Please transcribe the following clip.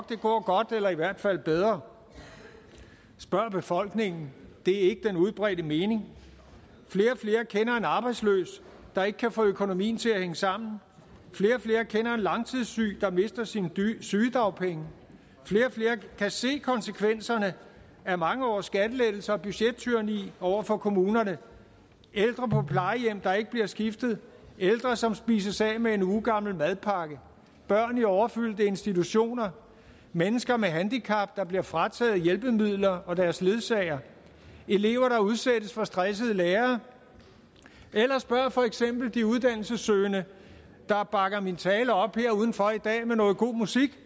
det går godt eller i hvert fald bedre spørg befolkningen det er ikke den udbredte mening flere og flere kender en arbejdsløs der ikke kan få økonomien til at hænge sammen flere og flere kender en langtidssyg der mister sine sygedagpenge flere og flere kan se konsekvenserne af mange års skattelettelser og budgettyranni over for kommunerne ældre på plejehjem der ikke bliver skiftet ældre som spises af med en ugegammel madpakke børn i overfyldte institutioner mennesker med handicap der bliver frataget hjælpemidler og deres ledsager elever der udsættes for stressede lærere eller spørg for eksempel de uddannelsessøgende der bakker min tale op her udenfor i dag med noget god musik